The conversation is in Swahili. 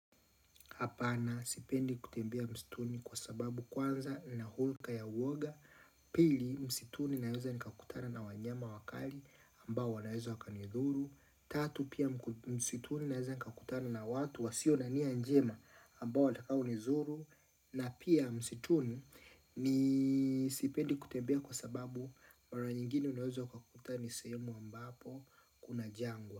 Hapana sipendi kutembea msituni kwa sababu kwanza na hulka ya uoga Pili msituni naweza nikakutana na wanyama wakali ambao wanaweza wakanidhuru Tatu pia msituni naweza nikakutana na watu wa sio na nia njema ambao watakao ni zuru na pia msituni ni sipendi kutembea kwa sababu mara nyingine unaweza ukakuta ni sehemu ambapo kuna jangwa.